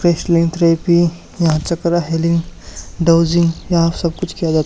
therapy यहां chakra healing dowsing यहां सब कुछ किया जा--